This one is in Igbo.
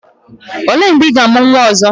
O lee mgbe ị ga-amụ nwa ọzọ?